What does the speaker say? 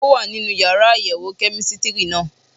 Ó wà nínú yàrá àyẹ̀wò kẹ́mísítírì náà